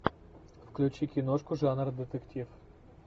включи киношку жанра детектив